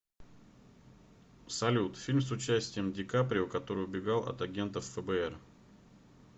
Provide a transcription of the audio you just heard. салют фильм с участием дикаприо который убегал от агентов фбр